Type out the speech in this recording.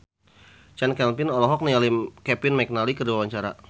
Chand Kelvin olohok ningali Kevin McNally keur diwawancara